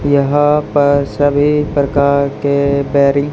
यहां पर सभी प्रकार के बेरिं--